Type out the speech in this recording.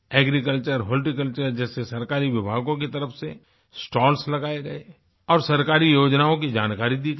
Agriculture horticulture जैसे सरकारी विभागों की तरफ से स्टॉल्स लगाए गए और सरकारी योजनाओं की जानकारी दी गई